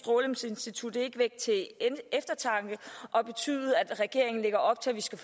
institut ikke vække til eftertanke og betyde at regeringen lægger op til at vi skal